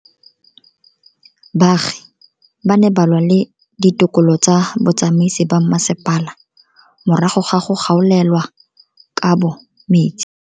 Baagi ba ne ba lwa le ditokolo tsa botsamaisi ba mmasepala morago ga go gaolelwa kabo metsi.